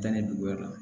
Danni dugumɔ la